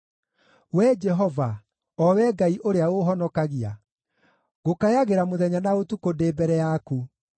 Wee Jehova, o Wee Ngai ũrĩa ũũhonokagia, ngũkayagĩra mũthenya na ũtukũ ndĩ mbere yaku.